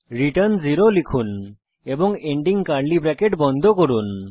return 0 লিখুন এবং ending curly bracket বন্ধ করুন